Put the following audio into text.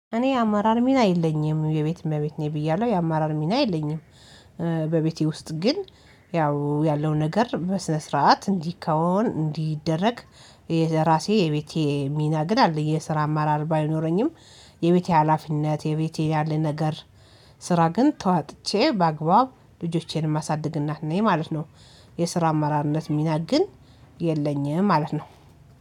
እኔ የአመራር ሚና የለኝም የቤት እመቤት ነኝ ብያለሁ የአማራር ሚና የለኝም። በቤቴ ውስጥ ግን ያው ያለው ነገር በስነ ስርዓት እንዲካወን እንዲደረግ የራሴ የቤቴ ሚና ግን አለኝ የስራ አማራር ባይኖረኝም። የቤቴ ሀላፊነት የቤቴ ያለ ነገር ስራ ግን ተዋጥቼ በአግባቡ ልጆቼን ማሳደግ እናት ነኝ ማለት ነው። የስራ አመራርነት ሚና ግን የለኝም ማለት ነው